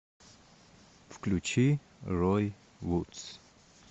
включи рой вудс